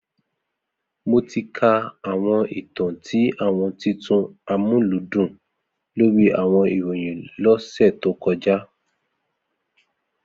Mo ti ka awọn itan ti awọn titun Amuludun lori awọn irohin lo ose to koja